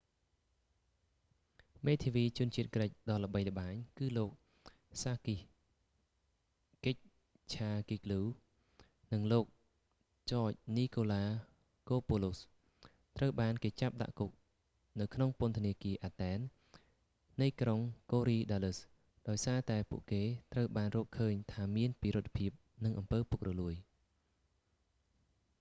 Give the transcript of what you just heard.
មេធាវីជនជាតិក្រិចដ៏ល្បីល្បាញ គឺលោកសាគីស កិចឆាហ្គីកហ្គ្លូ sakis kechagioglou និងលោក ចច នីកូឡាកូពូឡូស george nikolakopoulos ត្រូវបានគេចាប់ដាក់គុកនៅក្នុងពន្ធនាគារ អាតែន athen នៃក្រុង កូរីដាលឹស korydallus ដោយសារតែពួកគេត្រូវបានរកឃើញថាមានពិរុទ្ធភាពនិងអំពើពុករលួយ